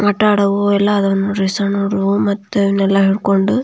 ಆಟ ಆಡವು ಎಲ್ಲ ಯಾದವ್ ನೋಡ್ರಿ ಸಣ್ಣ ಹುಡುಗೂರು ಮತ ನೆಲ ಹಿಡುಕೊಂಡು.